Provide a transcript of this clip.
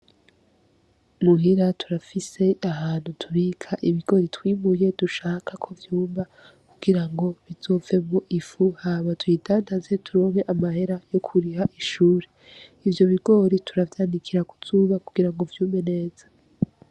Muhira turafise ahantu tubika ibigori twimuye dushaka ko vyuma kugira bizovemyo ifu hama tuyidandaze turonke amahera yo kuriha ishure. Ivyo bigori tuvyanikira ku zuba kugira ngo vyume neza.